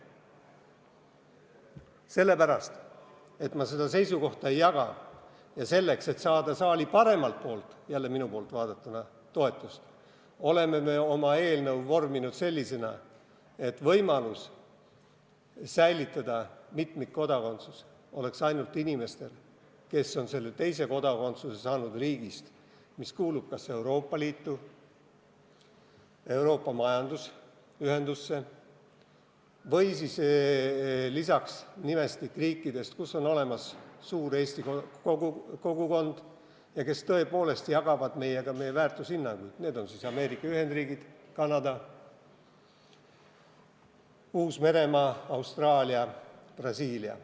Ent kuna ma seda seisukohta ei jaga ja selleks, et saada saali paremalt poolt – jälle minu poolt vaadatuna – toetust, oleme me oma eelnõu vorminud selliseks, et võimalus säilitada mitmikkodakondsus oleks ainult nendel inimestel, kes on teise kodakondsuse saanud riigist, mis kuulub kas Euroopa Liitu, Euroopa majandusühendusse laiemalt või siis nende riikide hulka, kus on olemas suur Eesti kogukond ja kes tõepoolest jagavad meiega meie väärtushinnanguid, need on siis Ameerika Ühendriigid, Kanada, Uus-Meremaa, Austraalia, Brasiilia.